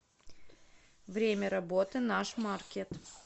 время работы наш маркет